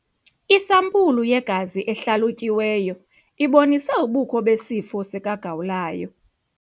Isampulu yegazi ehlalutyiweyo ibonise ubukho besifo sikagawulayo.